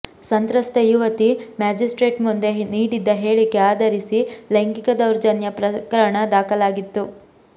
ಸಂತ್ರಸ್ತ ಯುವತಿ ಮ್ಯಾಜಿಸ್ಟ್ರೇಟ್ ಮುಂದೆ ನೀಡಿದ್ದ ಹೇಳಿಕೆ ಆಧರಿಸಿ ಲೈಂಗಿಕ ದೌರ್ಜನ್ಯ ಪ್ರಕರಣ ದಾಖಲಾಗಿತ್ತು